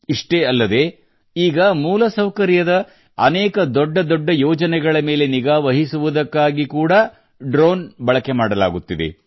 ಇಷ್ಟೇ ಅಲ್ಲದೇ ಈಗ ಮೂಲ ಸೌಕರ್ಯದ ಅನೇದ ದೊಡ್ಡ ದೊಡ್ಡ ಯೋಜನೆಗಳ ಮೇಲೆ ನಿಗಾ ವಹಿಸುವುದಕ್ಕಾಗಿ ಕೂಡಾ ಡ್ರೋನ್ ಬಳಕೆ ಮಾಡಲಾಗುತ್ತಿದೆ